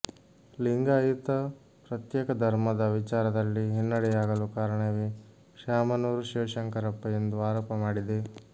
ಲಿಂಗಾಯತ ಪ್ರತ್ಯೇಕ ಧರ್ಮದ ವಿಚಾರದಲ್ಲಿ ಹಿನ್ನೆಡೆಯಾಗಲು ಕಾರಣವೇ ಶ್ಯಾಮನೂರು ಶಿವಶಂಕರಪ್ಪ ಎಂದು ಆರೋಪ ಮಾಡಿದೆ